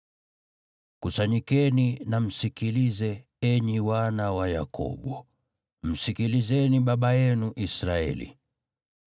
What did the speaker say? “Kusanyikeni na msikilize, enyi wana wa Yakobo, msikilizeni baba yenu Israeli.